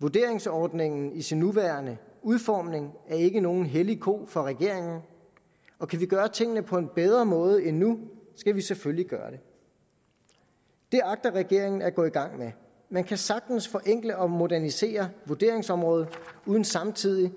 vurderingsordningen i sin nuværende udformning er ikke nogen hellig ko for regeringen og kan vi gøre tingene på en bedre måde end nu skal vi selvfølgelig gøre det det agter regeringen at gå i gang med man kan sagtens forenkle og modernisere vurderingsområdet uden samtidig